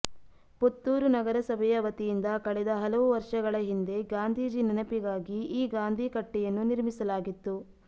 ಪುತ್ತೂರು ನಗರಸಭೆಯ ವತಿಯಿಂದ ಕಳೆದ ಹಲವು ವರ್ಷಗಳ ಹಿಂದೆ ಗಾಂಧೀಜಿ ನೆನಪಿಗಾಗಿ ಈ ಗಾಂಧಿ ಕಟ್ಟೆಯನ್ನು ನಿರ್ಮಿಸಲಾಗಿತ್ತು